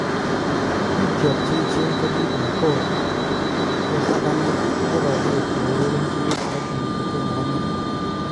" Biikyok cheyechen kokikobun Gor ot agane kokoroger ourereche kilabuni kotomo omuny.